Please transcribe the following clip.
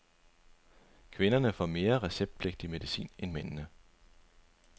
Kvinderne får mere receptpligtig medicin end mændene.